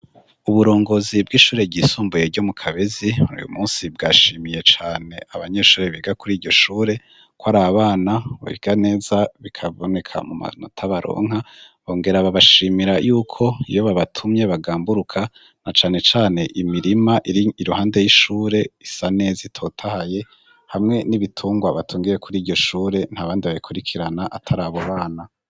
Uburongozi bw'ishure ry' isumbuye ryo mu kabezi, uyu munsi bwashimiye can' abanyeshure biga kur'iryo shure, bikaboneka mu manota baronka bongera babashimira yuk' iyo babatumye bagamburuka na cane can' imirim' ir' iruhande y'ishur' isa nez' itotahaye, hamwe n'ibitungwa batungiye kur' iryo shure nta bandi babikurikiran' atar' abo bana, haruguru har' ibiti n' ayandi maz'akikij' ishure.